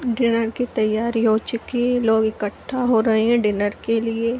Dinner की तैयारी हो चुकी है लोग इकट्ठा हो रहे हैं डिनर के लिए।